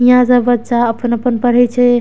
हीया सब बच्चा अपन-अपन पढ़े छै।